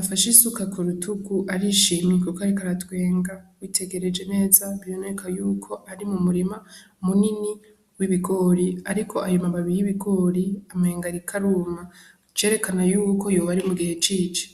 afashe isuka ku rutugu arishimye kuko ariko aratwenga. Witegereje neza bikaboneka yuko ari mu murima munini w'ibigori ariko ayo mababi y'ibigori umengo ariko aruma, icerekana yuko hoba ari mu gihe c'ici.